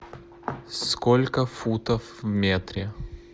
сколько футов в метре